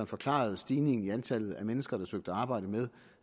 forklarede stigningen i antallet af mennesker der søgte arbejde med